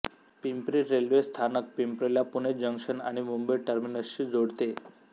Pimpri railway स्थानक पिंपरीला Pune junction आणि मुंबई टर्मिनसशी जोडते